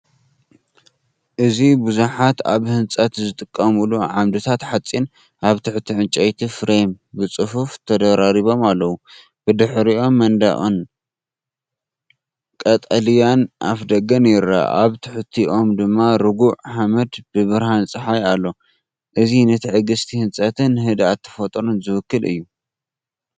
እዚ ብዙሓት ኣብ ህንጸት ዝጥቀሙሉ ዓምድታት ሓጺን ኣብ ትሕቲ ዕንጨይቲ ፍሬም ብጽፉፍ ተደራሪቦም ኣለው። ብድሕሪኦም መንደቕን ቀጠልያ ኣፍደገን ይርአ፣ ኣብ ትሕቲኦም ድማ ርጉእ ሓመድ ብብርሃን ጸሓይ ኣሎ። እዚ ንትዕግስቲ ህንጸትን ንህድኣት ተፈጥሮን ዝውክል እዩ።